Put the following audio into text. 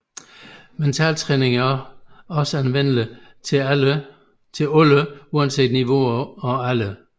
Mentaltræning er også anvendeligt til alle uanset niveauer og aldre